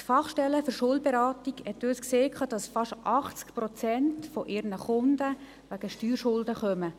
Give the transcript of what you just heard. Die Fach stelle für Schuldenberatung hat uns gesagt, dass fast 80 Prozent ihrer Kunden wegen Steuerschulden vorbeikämen.